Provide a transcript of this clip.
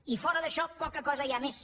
i fora d’això poca cosa hi ha més